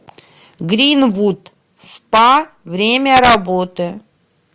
гринвуд спа время работы